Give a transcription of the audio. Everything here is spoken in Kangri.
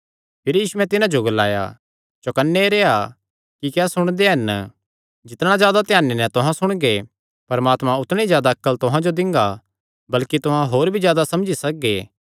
भिरी यीशुयैं तिन्हां जो ग्लाया चौकन्ने रेह्आ कि क्या सुणदे हन जिस नापे नैं तुहां नापदे हन तिसी नैं तुहां तांई भी नापेया जांगा कने तुहां जो जादा दित्ता जांगा